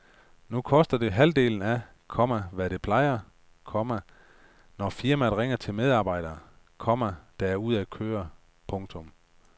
Nu koster det halvdelen af, komma hvad det plejer, komma når firmaet ringer til medarbejdere, komma der er ude at køre. punktum